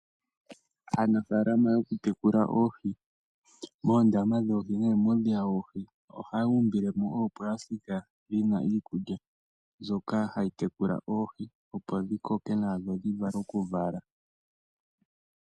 Aanafaalama yokutekula oohi muundama woohi nenge muudhiya woohi ohaya umbile mo oopasitika dhina iikulya mbyoka hayi tekula oohi opo dhi koke nawa dho dhivule okuvala.